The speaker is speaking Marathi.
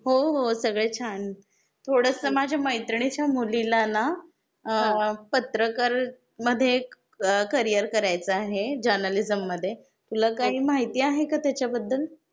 हो हो सगळे छान. थोडसं माझ्या मैत्रिणीच्या मुलीला ना पत्रकार मध्ये एक करियर करायचा आहे, जर्नलिज्म मध्ये. तुला काही माहिती आहे का त्याच्याबद्दल?